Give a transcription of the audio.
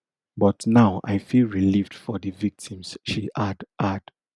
but now i feel relieved for di victims she add add